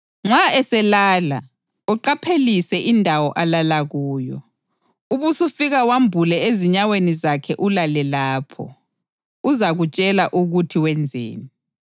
Nxa eselala, uqaphelise indawo alala kuyo, ubusufika wambule ezinyaweni zakhe ulale lapho. Uzakutshela ukuthi wenzeni.”